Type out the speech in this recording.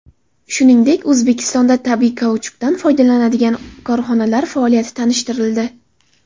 Shuningdek, O‘zbekistonda tabiiy kauchukdan foydalanadigan korxonalar faoliyati tanishtirildi.